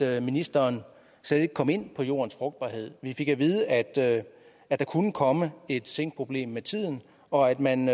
at ministeren slet ikke kom ind på jordens frugtbarhed vi fik at vide at der kunne komme et zinkproblem med tiden og at man